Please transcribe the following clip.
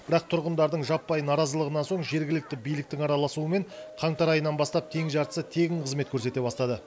бірақ тұрғындардың жаппай наразылығынан соң жергілікті биліктің араласуымен қаңтар айынан бастап тең жартысы тегін қызмет көрсете бастады